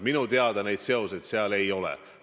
Minu teada seal seoseid ei ole.